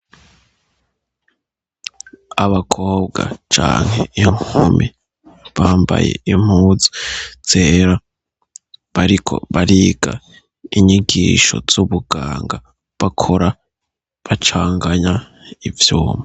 Abakobwa canke inkumi bambaye impuzu zera bariko bariga inyigisho z'ubuganga bakora bacanganya ivyuma.